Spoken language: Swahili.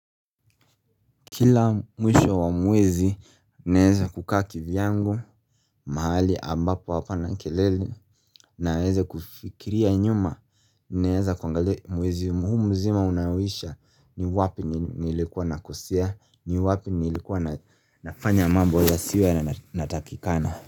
Kila mwisho wa mwezi, naeza kukaa kivyangu, mahali, ambapo hapana kelele. Naweze kufikiria nyuma, naeza kuangalia mwezi huu mzima unaoisha ni wapi nilikuwa nakosea, ni wapi nilikuwa nafanya mambo yasiyo yanatakikana.